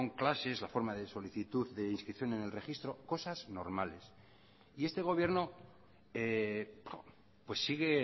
clases la forma de solicitud de inscripción en el registro cosas normales y este gobierno sigue